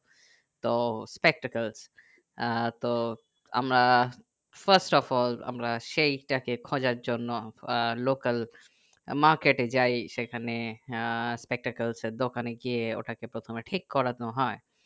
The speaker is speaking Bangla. তো spectacles আহ তো আমরা first of all আমরা সেই তাকে খোঁজার জন্য আহ local market এ যাই সেইখানে আহ spectacles এর দোকানে গিয়ে ওটাকে প্রথমে ঠিক করানো হয়